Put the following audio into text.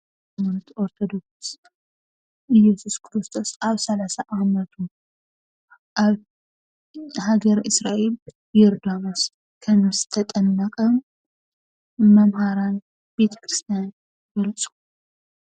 ኦርቶዶክስ እየሱስ ኩርስቶስ አብ ሰላሳ ዓመቱ ኣብ ሃገረ እስራኤል ዮርዳኖስ ከምዝተጠመቀ መምሃራን ቤተ-ክርትስያን ይገልፁ።